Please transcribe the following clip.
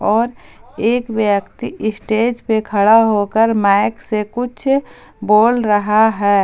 और एक व्यक्ति स्टेज पे खड़ा होकर माइक से कुछ बोल रहा है।